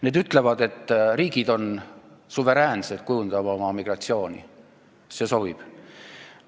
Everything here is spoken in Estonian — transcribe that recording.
See ütleb, et riigid on suveräänsed oma migratsiooni kujundamisel – see sobib.